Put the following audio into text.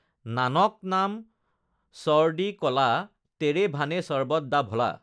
নানক নাম চঢ়দী কলা, তেৰে ভাণে সৰৱত দা ভলা!